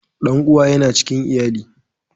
Dan'uwa yana cikin iyali.